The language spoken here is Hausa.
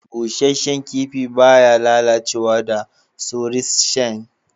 Bushashan kipi ba ya lallacewa da saurischians